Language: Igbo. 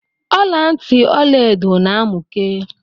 Ọlantị Ọlaedo na amụke.